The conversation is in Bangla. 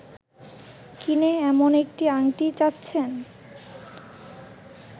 কিনে এমন একটি আংটি চাচ্ছেন